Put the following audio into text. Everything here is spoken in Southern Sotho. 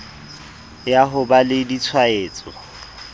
ya ho ba le ditshwaetso